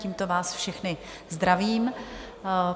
Tímto vás všechny zdravím.